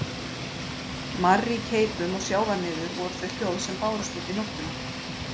Marr í keipum og sjávarniður voru þau hljóð sem bárust út í nóttina.